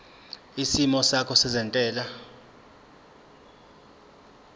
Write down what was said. isimo sakho sezentela